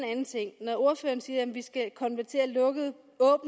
når ordføreren siger at vi skal konvertere lukkede